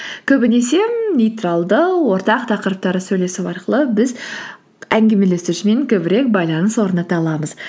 көбінесе нейтралды ортақ тақырыптары сөйлесу арқылы біз әңгімелесушімен көбірек байланыс орната аламыз